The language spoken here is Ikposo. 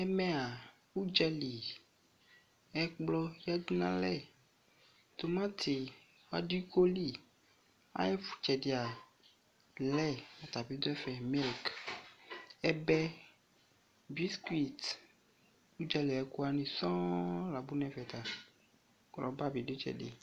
Ɛmɛa udzali, ɛkpɔ yasu no alɛ Tomateŵa ɔdo iko li Aye tsɛdea blɛi ɔta be do ɛfɛ , milk, ɛbɛ, biscuit, udzali aye ko wane sɔɔ la lɔ nɛfɛ ko rɔba be do itsɛde